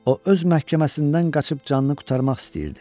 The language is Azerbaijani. O öz məhkəməsindən qaçıb canını qurtarmaq istəyirdi.